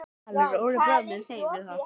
Valur: Óli bróðir minn segir mér það.